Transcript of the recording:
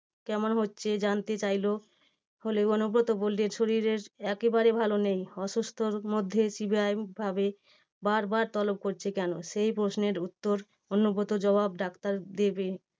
কেমন হচ্ছে জানতে চাইলো হলেও, অনুব্রত বললেন শরীরের একেবারে ভালো নেই। অসুস্থতার মধ্যে CBI ভাবে বারবার তলব করছে কেন? সেই প্রশ্নের উত্তর অনুব্রতর জবাব ডাক্তার দেবে।